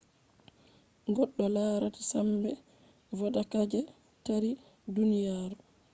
goddo larata sambe vodaka je taari duniyaru